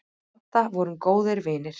Við Adda vorum góðir vinir.